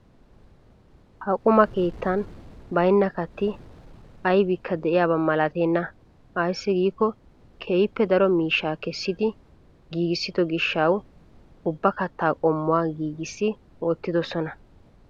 Ha quma keettan baynna kaatti aybikka de'iyaaba malatenna ayssi giiikko keehippe daro miishshaa kessidi giigissido gishshawu ubba kattaa qommuwaa giigissi wottidosona.